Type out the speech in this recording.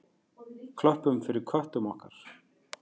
Klöppum fyrir köttum okkar!